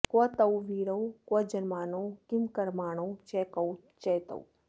क्व तौ वीरौ क्वजन्मानौ किंकर्माणौ च कौ च तौ